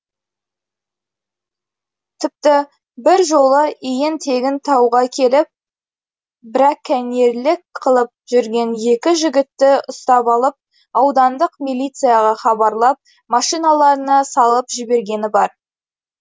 тіпті бір жолы иен тегін тауға келіп брәкәнерлік қылып жүрген екі жігітті ұстап алып аудандық милицияға хабарлап машиналарына салып жібергені бар